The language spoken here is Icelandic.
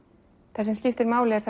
það sem skiptir máli er